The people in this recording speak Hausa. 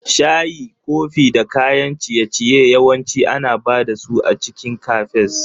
Shayi, kofi da kayan ciye-ciye yawanci ana ba da su a cikin Cafes.